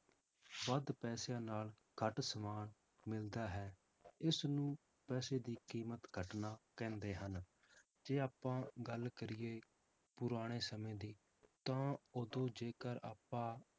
ਵੱਧ ਪੈਸਿਆਂ ਨਾਲ ਘੱਟ ਸਮਾਨ ਮਿਲਦਾ ਹੈ, ਇਸਨੂੰ ਪੈਸੇ ਦੀ ਕੀਮਤ ਘੱਟਣਾ ਕਹਿੰਦੇ ਹਨ, ਜੇ ਆਪਾਂ ਗੱਲ ਕਰੀਏ ਪੁਰਾਣੇ ਸਮੇਂ ਦੀ ਤਾਂ ਉਦੋਂ ਜੇਕਰ ਆਪਾਂ